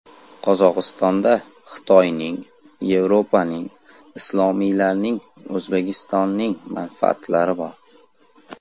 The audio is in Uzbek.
Qozog‘istonda Xitoyning, Yevropaning, islomiylarning, O‘zbekistonning manfaatlari bor.